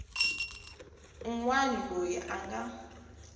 un wana loyi a nga